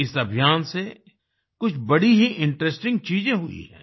इस अभियान से कुछ बड़ी ही इंटरेस्टिंग चीज़े हुई हैं